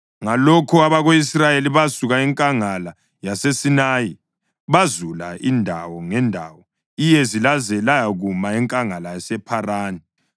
Ngalokho abako-Israyeli basuka enkangala yaseSinayi bazula indawo ngendawo iyezi laze layakuma enkangala yasePharani.